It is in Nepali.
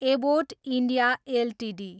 Abbott India Ltd